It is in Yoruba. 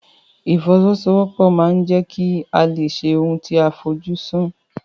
Ìfọwọ́sowọ́pọ̀ ma ń jẹ́ kí a lè ṣe ohun tí a fojú sùn.